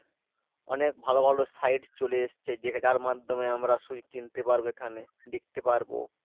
অনেক ভালো ভালো site চলে এসছে যে যার মাধ্যমে আমরা সবই কিনতে পারব এখানে, দেখতে পারব।